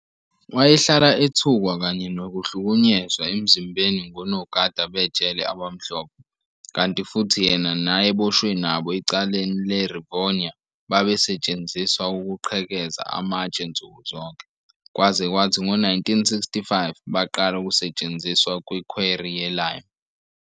Wayehlala ethukwa kanye nokuhlukunyezwa emzimbeni ngonogada bejele abamhlophe, kanti futhi yena nayeboshwe nabo ecaleni le-Rivonia, babesetshenziswa ukuqhekeza amatshe nsuku zonke, kwaze kwathi ngo-1965 baqala ukusetshenziswa kwi-quarry ye-lime.